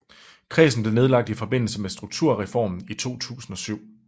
Kredsen blev nedlagt i forbindelse med Strukturreformen i 2007